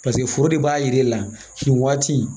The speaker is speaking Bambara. Paseke foro de b'a yir'e la nin waati